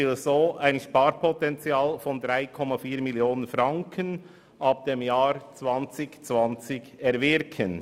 Damit will er ab 2020 ein Sparpotenzial von 3,4 Mio. Franken erwirken.